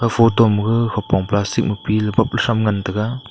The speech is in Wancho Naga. photo maga hupong plastic ma pila bak la cham ngan taga.